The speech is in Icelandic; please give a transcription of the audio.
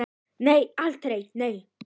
Nei, aldrei, nei!